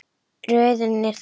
Röðin er þessi